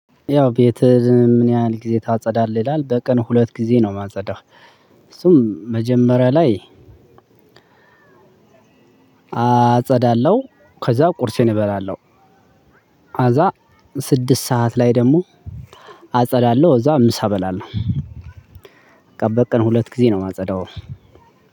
ያው ቤትህ ምን? ያህል ጊዜ ታጸዳለህ ይላል በቀን ሁለት ጊዜ ነው የማጸዳው። እሱም መጀመሪያ ላይ አጸዳለሁ ከዛ ቁርሴን እበላለሁ። ሀዛ ስድስት ሰዓት ላይ ደግሞ አጸዳለሁ እዛ ምሳ እበላለሁ። በቃ በቀን ሁለት ጊዜ ነው የማጸዳው።